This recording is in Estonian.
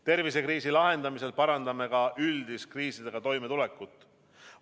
Tervisekriisi lahendamisel parandame ka üldist kriisidega toimetulekut.